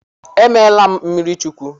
E meela m mmiri Chukwu.